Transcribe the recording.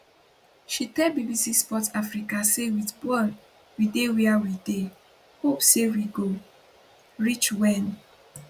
she tell bbc sport africa say wit bal we dey wia we dey hope say we go reach wen